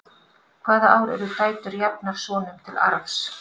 hvaða ár urðu dætur jafnar sonum til arfs